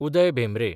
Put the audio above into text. Uday Bhembre